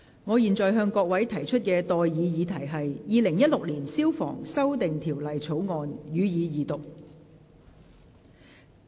我現在向各位提出的待議議題是：《2016年消防條例草案》，予以二讀。